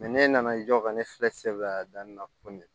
ne nana i jɔ ka ne bila a da nin na kɔni